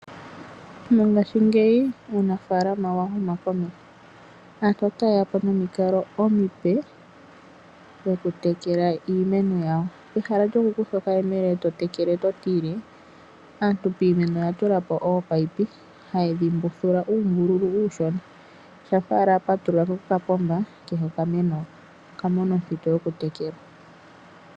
Mongaashingeyi uunafaalama owa huma komeho. Aantu otayeyapo nomikalo omipe ndhoku tekela iimeno yawo. Pehala lyokukutha okayemele eto tekele totile Aantu piimeno oya tulapo ominino ha yedhi mbuthula uumbululu uushona shampa owala wa patulula okapomba kehe okameno otakatekelwa.